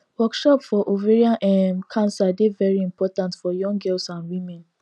workshop for ovarian um cancer dey very important for young girls and women